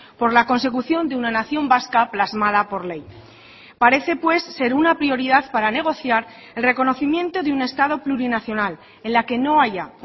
por la consecución de una nación vasca plasmada por ley parece pues ser una prioridad para negociar el reconocimiento de un estado plurinacional en la que no haya